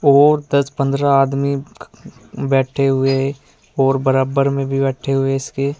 और दस पन्द्रह आदमी बैठे हुए और बराबर में भी बैठे हुए इसके।